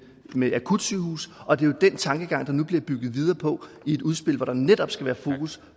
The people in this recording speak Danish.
med akutsygehuse og det er jo den tankegang der nu bliver bygget videre på i et udspil hvor der netop skal være fokus